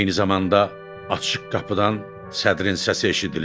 Eyni zamanda açıq qapıdan sədrin səsi eşidilirdi.